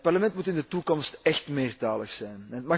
Het Parlement moet in de toekomst echt meertalig zijn.